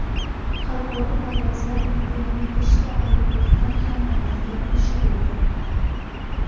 Xalqaro parvozlar endi yana beshta aeroportdan ham amalga oshiriladi.